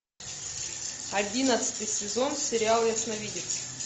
одиннадцатый сезон сериала ясновидец